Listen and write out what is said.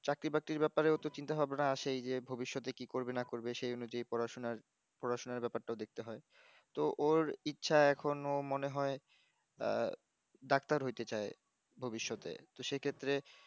চাকরি বাক্রির বাপারে একটু চিন্তা ভাবনা আছে যে ভবিষ্যতে কি করবে না করবে সেই অনুজায়ি পড়াশোনার পড়াশোনা ব্যাপারটা দেকতে হয় ত ওর ইচ্ছা এখন ও মনে হয় আহ ডাক্তার হইতে চায় ভবিষ্যতে তো সে ক্ষেত্রে